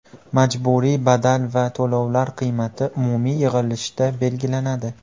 Majburiy badal va to‘lovlar qiymati umumiy yig‘ilishda belgilanadi.